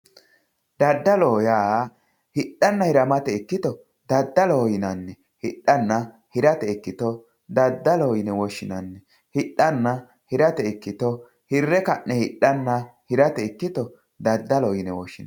Daddaloho yaa hidhanna hiramate ikkito daddaloho yinanni hirre ka'ne hidhanna hirate ikkito daddaloho yine woshshinanni